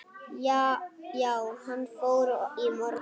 Já, hann fór í morgun